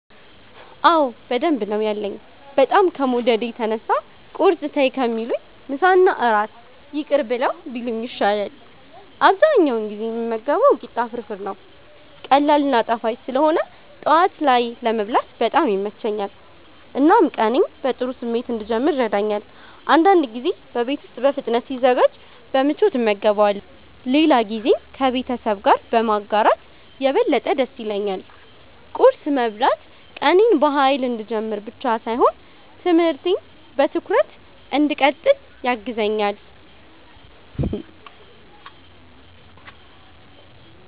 አዎ በደንብ ነው ያለኝ፤ በጣም ከመውደዴ የተነሳ ቁርስ ተይ ከሚሉኝ ምሳና እራት ይቅር ብለው ቢሉኝ ይሻላል። አብዛኛውን ጊዜ የምመገበው ቂጣ ፍርፍር ነው። ቀላል እና ጣፋጭ ስለሆነ ጠዋት ላይ ለመብላት በጣም ይመቸኛል፣ እናም ቀኔን በጥሩ ስሜት እንድጀምር ይረዳኛል። አንዳንድ ጊዜ በቤት ውስጥ በፍጥነት ሲዘጋጅ በምቾት እመገበዋለሁ፣ ሌላ ጊዜም ከቤተሰብ ጋር በማጋራት የበለጠ ደስ ይለኛል። ቁርስ መብላት ቀኔን በኃይል እንድጀምር ብቻ ሳይሆን ትምህርቴን በትኩረት እንድቀጥል ያግዘኛል።